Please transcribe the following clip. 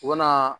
U ka na